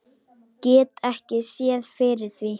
Get ekki séð fyrir því.